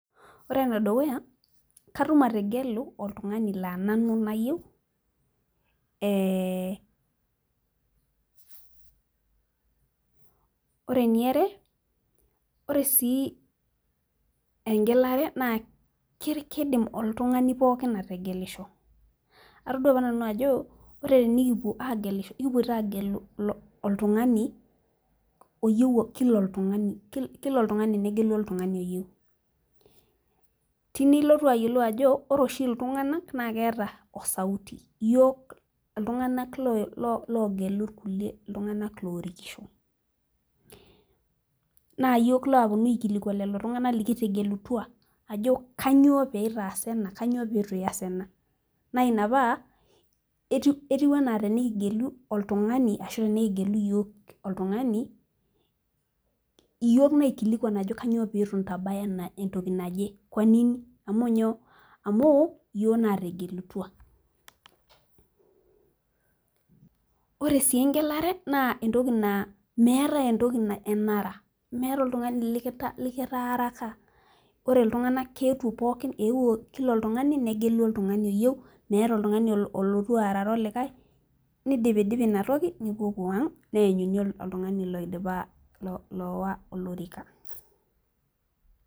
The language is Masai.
Ore ene dukuya katum ategelu oltungani laa nanu nayieu, ee ore eniare, ore sii egelare naa kidim oltungani pookin ategelisho, atodua apa nanu ajo ore tenikipuo aagelisho ekipoito aagelu oltungani oyieu Kila oltungani, Kila oltungani. Negelu oltungani oyieu. teine ilotu aayiolou ajo ore oshi iltunganak naa keeta o sauti iyiook iltunganak loogelu iltunganak kulie loorikisho. naa iyiook laapuonu aikilikuan lelo tunganak likitegelutua, ajo kainyioo pee itaasa ena kainyioo pee eitu iyas ena. naa Ina paa etiu anaa tenikigelu, oltungani ashu tenikigelu iyiook oltungani iyiook naikilikuan ajo kainyioo pee eitu intabaya entoki naje,,Kwa nini, amu inyoo. amuu iyiook naategelutua, ore sii egelare naa entoki naa meetae enara. meetae oltungani likitaaraka ore iltunganak keetuo pookin eewuo Kila oltungani. negelu oltungani oyieu, meeta oltungani olotu aarare olikae, nidipidipi Ina toki, nipopuo ang neenyuni oltungani loidiipa lowa olorika.